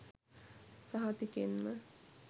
සහතිකෙන්ම